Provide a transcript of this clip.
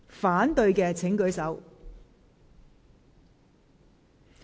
反對的請舉手。